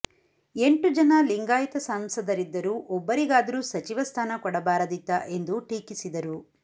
ಎಂಟು ಜನ ಲಿಂಗಾಯತ ಸಂಸದರಿದ್ದರು ಒಬ್ಬರಿಗಾದ್ರೂ ಸಚಿವ ಸ್ಥಾನ ಕೊಡಬಾರದಿತ್ತಾ ಎಂದು ಟೀಕಿಸಿದರು